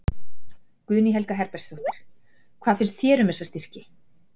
Guðný Helga Herbertsdóttir: Hvað finnst þér um þessa styrki?